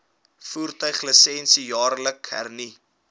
voertuiglisensie jaarliks hernu